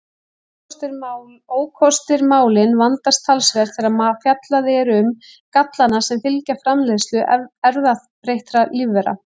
Ókostir Málin vandast talsvert þegar fjallað er um gallana sem fylgja framleiðslu erfðabreyttra lífvera.